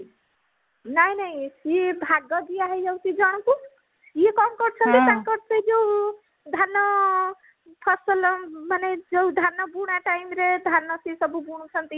ନାଇଁ ନାଇଁ ସିଏ ଭାଗ ଦିଆ ହେଇଯାଉଛି ଜଣଙ୍କୁ ସିଏ କଣ କରୁଛନ୍ତି ତାଙ୍କର ସେଇ ଯୋଉ ଧାନ ଆଁ ଫସଲ ମାନେ ଯୋଉ ଧାନ ବୁଣା time ରେ ଧାନ ସିଏ ସବୁ ବୁଣୁଛନ୍ତି